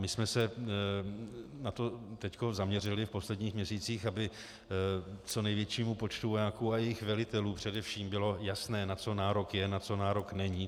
My jsme se na to teď zaměřili v posledních měsících, aby co největšímu počtu vojáků a jejich velitelů především bylo jasné, na co nárok je, na co nárok není.